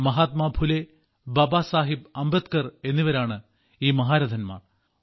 മഹാത്മാ ഫുലെ ബാബാ സാഹബ് അംബേദ്കർ എന്നിവരാണ് ഈ മഹാരഥന്മാർ